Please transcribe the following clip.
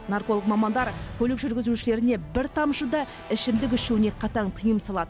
нарколог мамандар көлік жүргізушілеріне бір тамшы да ішімдік ішуіне қатаң тыйым салады